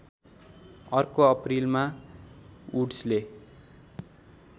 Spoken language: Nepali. अर्को अप्रिलमा वुड्सले